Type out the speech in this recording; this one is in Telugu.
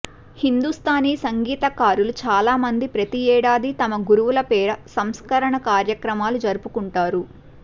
హిందూస్తానీ సంగీతకారులు చాలామంది ప్రతి ఏడాదీ తమ గురువుల పేర సంస్మరణ కార్యక్రమాలు జరుపుకుంటారు